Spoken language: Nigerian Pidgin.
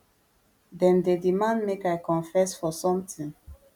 dem dey demand make i confess for sometin